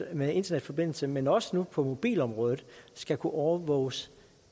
med internetforbindelser men også nu på mobilområdet skal kunne overvåges